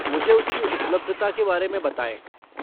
मुझे उसकी उपलब्धता के बारे में बताएँ।